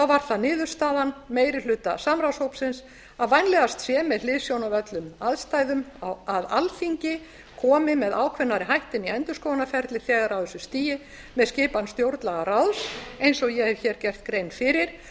var það niðurstaða meiri hluta samráðshópsins að vænlegast sé með hliðsjón af öllum aðstæðum að alþingi komi með ákveðnari hætti inn í endurskoðunarferlið þegar á þessu stigi með skipan stjórnlagaráðs eins og ég hef hér gert grein fyrir